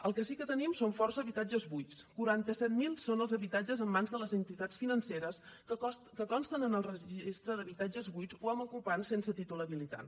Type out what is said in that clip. el que sí que tenim són força habitatges buits quaranta set mil són els habitatges en mans de les entitats financeres que consten en el registre d’habitatges buits o amb ocupants sense títol habilitant